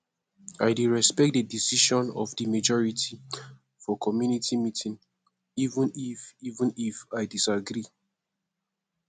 i dey respect di decision of di majority for community meeting even if even if i disagree